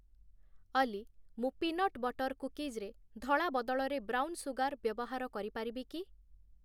ଅଲି ମୁଁ peanut butter କୁକିଜ୍‌ରେ ଧଳା ବଦଳରେ ବ୍ରାଉନ୍ ସୁଗାର୍ ବ୍ୟବହାର କରିପାରିବିକି?